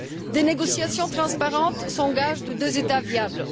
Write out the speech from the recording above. Des négociations transparentes sont le gage de deux États viables.